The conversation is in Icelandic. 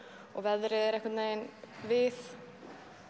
og veðrið er einhvern veginn við